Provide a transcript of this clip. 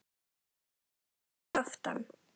Sítt hár að aftan.